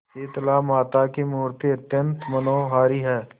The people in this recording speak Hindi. शीतलामाता की मूर्ति अत्यंत मनोहारी है